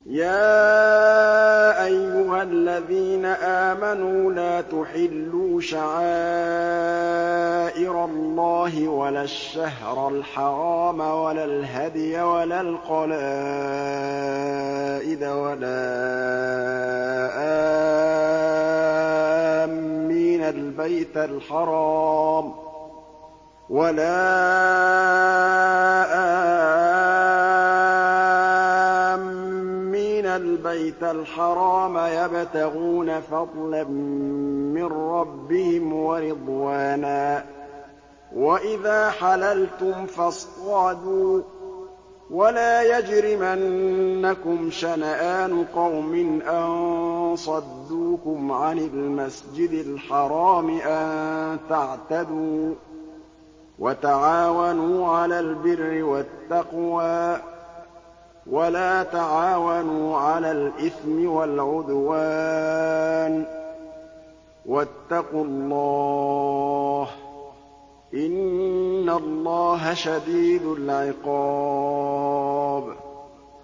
يَا أَيُّهَا الَّذِينَ آمَنُوا لَا تُحِلُّوا شَعَائِرَ اللَّهِ وَلَا الشَّهْرَ الْحَرَامَ وَلَا الْهَدْيَ وَلَا الْقَلَائِدَ وَلَا آمِّينَ الْبَيْتَ الْحَرَامَ يَبْتَغُونَ فَضْلًا مِّن رَّبِّهِمْ وَرِضْوَانًا ۚ وَإِذَا حَلَلْتُمْ فَاصْطَادُوا ۚ وَلَا يَجْرِمَنَّكُمْ شَنَآنُ قَوْمٍ أَن صَدُّوكُمْ عَنِ الْمَسْجِدِ الْحَرَامِ أَن تَعْتَدُوا ۘ وَتَعَاوَنُوا عَلَى الْبِرِّ وَالتَّقْوَىٰ ۖ وَلَا تَعَاوَنُوا عَلَى الْإِثْمِ وَالْعُدْوَانِ ۚ وَاتَّقُوا اللَّهَ ۖ إِنَّ اللَّهَ شَدِيدُ الْعِقَابِ